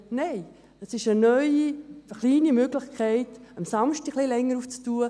Nein, es ist eine neue, eine kleine Möglichkeit, am Samstag ein wenig länger zu öffnen.